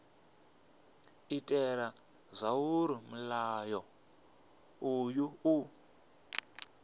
itela zwauri mulayo uyu u